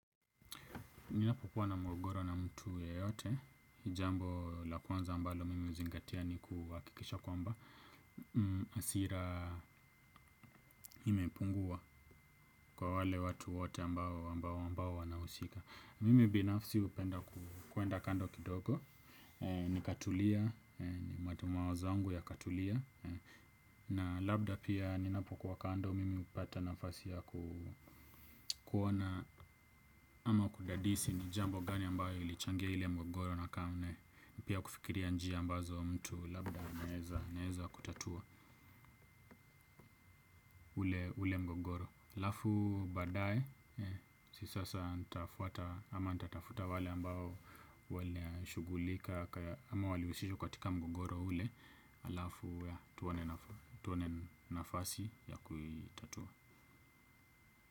Ninapokuwa na mgogoro na mtu ya yote, jambo lakwanza ambalo mimi huzingatia ni kuhakikisha kwamba hasira imepungua kwa wale watu wote ambao ambao wanahusika. Mimi binafsi hupenda kuenda kando kidogo, ni katulia, ni matu mawazo yangu ya katulia. Na labda pia ninapokuwa kando mimi hupata nafasi ya kuona ama kudadisi. Ni jambo gani ambayo ilichangia ile mgogoro na kaune. Pia kufikiria njia ambazo mtu labda anaeza kutatua ule mgogoro alafu badae. Sisa sasa ama nitafuta wale ambao wali shughulika. Ama wali husishwa katika mgogoro ule alafu tuone nafasi ya kuitatua.